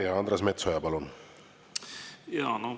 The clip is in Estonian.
Ja Andres Metsoja, palun!